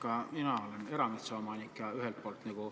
Ka mina olen erametsaomanik.